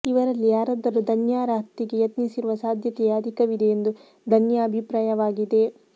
ಇವರಲ್ಲಿ ಯಾರಾದರೂ ಧನ್ಯಾರ ಹತ್ಯೆಗೆ ಯತ್ನಿಸಿರುವ ಸಾಧ್ಯತೆಯೇ ಅಧಿಕವಿದೆ ಎಂದು ಧನ್ಯಾ ಅಭಿಪ್ರಾಯವಾಗಿದೆ